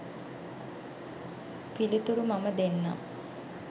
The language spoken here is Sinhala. පිලිතුරු මම දෙන්නම්.